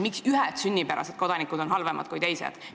Miks ühed sünnipärased kodanikud on halvemad kui teised?